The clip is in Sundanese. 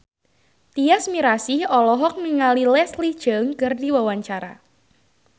Tyas Mirasih olohok ningali Leslie Cheung keur diwawancara